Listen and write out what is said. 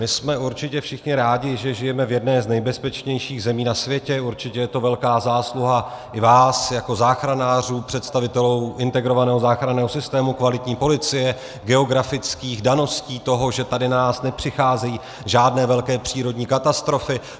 My jsme určitě všichni rádi, že žijeme v jedné z nejbezpečnějších zemí na světě, určitě je to velká zásluha i vás jako záchranářů, představitelů integrovaného záchranného systému, kvalitní policie, geografických daností toho, že k nám nepřicházejí žádné velké přírodní katastrofy.